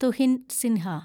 Tuhin Sinha